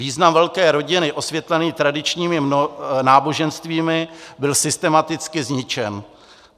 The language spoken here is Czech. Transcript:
Význam velké rodiny osvětlený tradičními náboženstvími byl systematicky zničen.